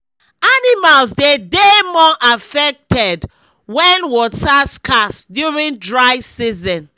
animals dey dey more affected wen water scarce during dry season